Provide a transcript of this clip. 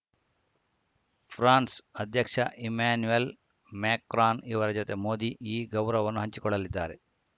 France ಅಧ್ಯಕ್ಷ Emmanuel Macron ಇವರ ಜತೆ ಮೋದಿ ಈ ಗೌರವವನ್ನು ಹಂಚಿಕೊಳ್ಳಲಿದ್ದಾರೆ